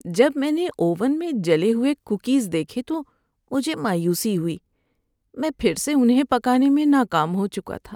جب میں نے اوون میں جلے ہوئے کوکیز دیکھے تو مجھے مایوسی ہوئی۔ میں پھر سے انہیں پکانے میں ناکام ہو چکا تھا۔